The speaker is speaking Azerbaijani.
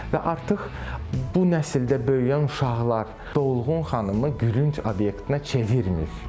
Və artıq bu nəsildə böyüyən uşaqlar dolğun xanımı gülünc obyektinə çevirmir.